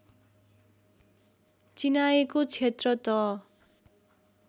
चिनाएको क्षेत्र त